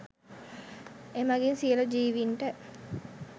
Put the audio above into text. එමගින් සියලු ජීවීන්ට